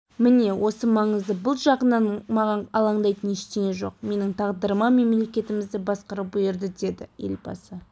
міне осы маңызды бұл жағынан маған алаңдайтын ештеңе жоқ менің тағдырыма мемлекетімізді басқару бұйырды деді елбасы